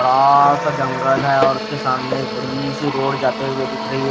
बड़ा सा जंगल है और उसके सामने एक बड़ी सी रोड जाते हुए दिख रही है।